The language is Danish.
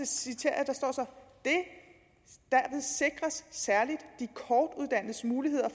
citerer jeg sikres særligt de kortuddannedes muligheder